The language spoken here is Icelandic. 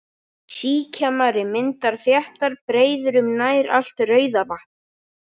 Síkjamari myndar þéttar breiður um nær allt Rauðavatn.